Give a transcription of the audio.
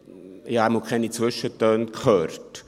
Ich jedenfalls habe keine Zwischentöne gehört.